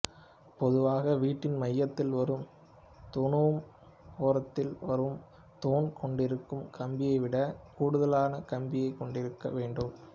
பொதுவாக வீட்டின் மையத்தில் வரும் தூணூம் ஓரத்தில் வரும் தூண் கொண்டிருக்கும் கம்பியைவிடக் கூடுதலான கம்பியைக் கொண்டிருக்க வேண்டும்